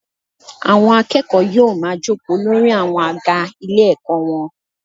Àwọn akẹ́kọ̀ọ́ yóò ma jókòó lórí àwọn àga ilé ẹ̀kọ́ wọn.